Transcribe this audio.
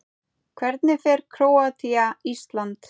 Hvernig fer Króatía- Ísland?